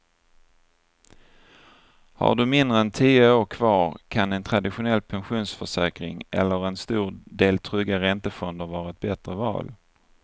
Har du mindre än tio år kvar kan en traditionell pensionsförsäkring eller en stor del trygga räntefonder vara ett bättre val.